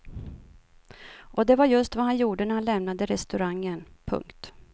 Och det var just vad han gjorde när han lämnade restaurangen. punkt